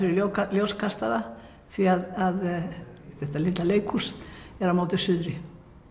ljóskastara því þetta leikhús er á móti suðri